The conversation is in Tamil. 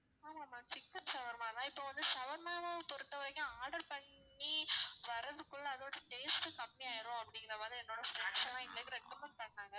ஆமா ma'am சிக்கன் shawarma தான் இப்போ வந்து shawarma வ பொறுத்த வரைக்கும் order பண்ணி வர்றதுக்குள்ள அதோட taste கம்மியாயிரும் அப்படிங்குற மாதிரி என்னோட friends லாம் எங்களுக்கு recommed பண்ணாங்க